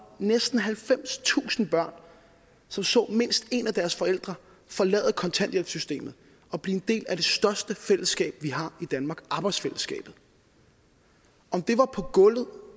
næsten halvfemstusind børn som så mindst en af deres forældre forlade kontanthjælpssystemet og blive en del af det største fællesskab vi har i danmark arbejdsfællesskabet om det var på gulvet